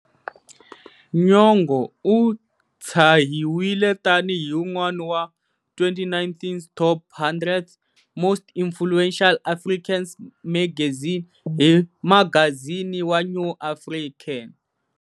Nyong'o u tshahiwile tani hi un'wana wa 2019's Top 100's most influential Africans magazine hi magazini wa New African.